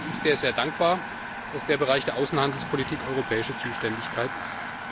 Deswegen bin ich sehr, sehr dankbar, dass der Bereich der Außenhandelspolitik europäische Zuständigkeit ist.